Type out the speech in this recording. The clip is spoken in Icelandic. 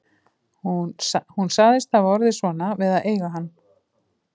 Hún sagðist hafa orðið svona við að eiga hann